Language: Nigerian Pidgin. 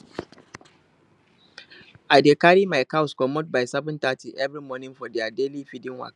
i dey carry my cows commot by 730 every morning for their daily feeding waka